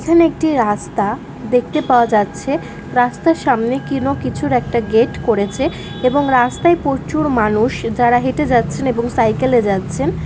এখানে একটি রাস্তা দেখতে পাওয়া যাচ্ছে রাস্তার সামনে কোন কিছুর একটা গেট করেছে এবং রাস্তায় প্রচুর মানুষ যারা হেঁটে যাচ্ছেন এবং সাইকেল এ যাচ্ছেন।